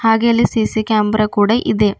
ಹಾಗೆ ಅಲ್ಲಿ C C camera ಕೂಡ ಇದೆ.